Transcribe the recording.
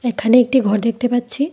এখানে একটি ঘর দেখতে পাচ্ছি।